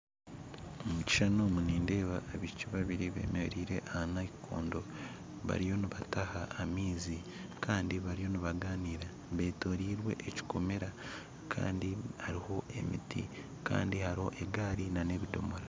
Omu kishuushani omu nindeeba abaishiiki babiire bemerire aha nayinkondo bariyo nibataaha amaizi kandi bariyo nibagaanira betorirwe ekikomeera kandi hariho emiti kandi hariho egaari n'ebidoomora